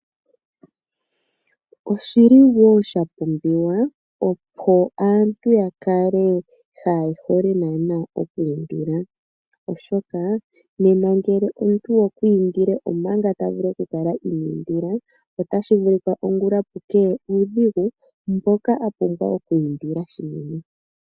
Oshili wo sha pumbiwa, opo aantu ya kale kaaye hole naana oku indila, oshoka nena ngele omuntu okwa indile omanga ta vulu oku kala iniindila, otashi vulika ongula pu keye uudhigu mboka a pumbwa oku indila shili.